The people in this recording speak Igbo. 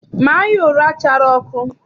Maa ya ụra chara ọkụ!